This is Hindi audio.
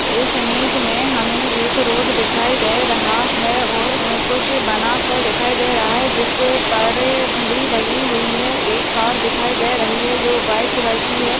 इस इमेज मे हमे एक रोड दिखाई दे रहा है और अह कुछ बनासा दिखाई दे रहा है जिसपर घड़ी लगी हुई है एक कार दिखाई दे रही है जो व्हाइट कलर की है।